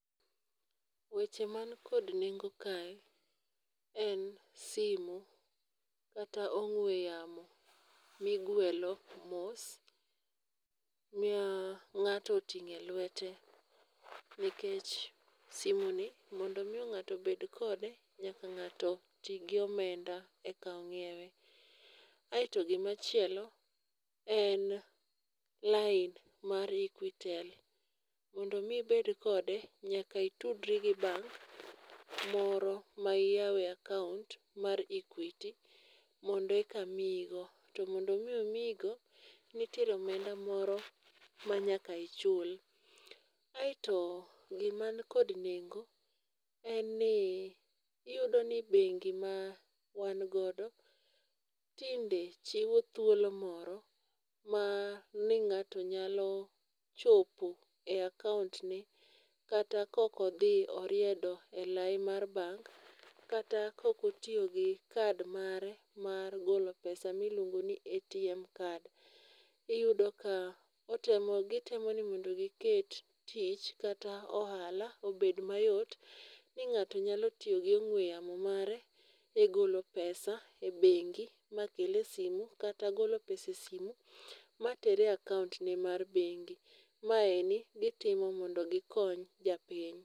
Weche man kod nengo kae en simu kata ong'we yamo mi igwelo mos ma ng'ato otingo e lwete nikech simu ni mondo mi ng'ato bed kode nyaka ng'ato ti gi omenda e ka nyiewe. Aito gi ma chielo en lain mar equitel, mondo mi ibed kode nyaka itudri gi bank moro ma iyawe akaunt mar equity mondo eka miyi go. To mondo mi omiyi go nitiere omenda moro ma nyaka ichul. Aito gi ma ni kod nengo iyudo ni bengi ma wan godo tinde yudo thuolo moro ma mi ng'ato nyalo chopo e akaunt ne kata ka ok odhi oriedo e lai mar bank kata kok otiyo gi kad mare mar golo pesa mi iluongo ni ATM kad. Iyudo ka otemo gi temo ni mondo gi ket tich kata ohala obed ma yot ni ng'ato nyalo tiyo gi ong'we yamo mare e golo pesa e bengi ma kel e simu kata golo pesa e simo ma ter e akaunt ne mar bengi. Maeni gi timo mondo gi kony japiny.